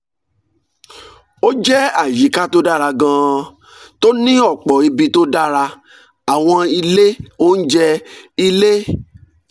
ó jẹ́ àyíká tó dára gan-an tó ní ọ̀pọ̀ ibi tó dára àwọn ilé oúnjẹ ilé